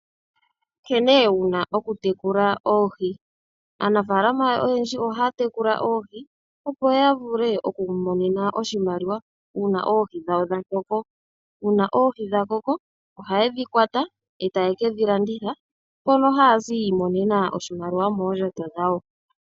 Nkene wuna okutekula oohi. Aanafalama oyendji ohaya tekula oohi, opo yavule okwiimonena oshimaliwa uuna oohi dhawo dhakoko. Uuna oohi dhakoko, ohayedhi kwata e taye kedhi landitha, mono haye kiimonena oshimaliwa shomoondjato dhawo.